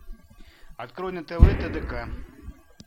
открой на тв тдк